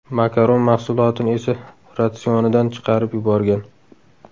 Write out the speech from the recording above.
Makaron mahsulotini esa ratsionidan chiqarib yuborgan.